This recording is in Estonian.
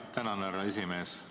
Tänan, härra esimees!